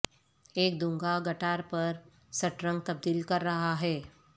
ایک دونگا گٹار پر سٹرنگ تبدیل کر رہا ہے